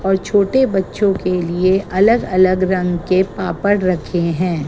और छोटे बच्चों के लिए अलग अलग रंग के पापड़ रखे हैं।